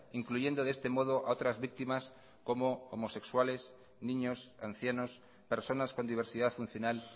incluyendo de este modo a otras víctimas como homosexuales niños ancianos personas con diversidad funcional